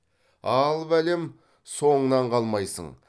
ал бәлем соңынан қалмайсың